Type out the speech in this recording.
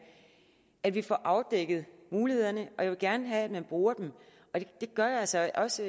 at vi får afdækket mulighederne og jeg vil gerne have at man bruger dem det gør jeg altså også